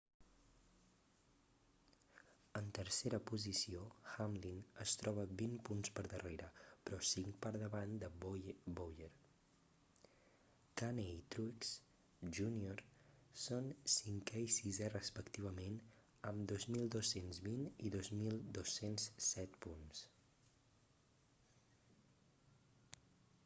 en tercera posició hamlin es troba vint punts per darrere però cinc per davant de bowyer kahne i truex jr són cinquè i sisè respectivament amb 2.220 i 2.207 punts